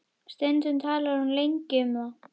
Stundum talar hún lengi um það.